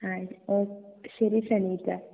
അഹ് ഓ ശെരി ഷണിക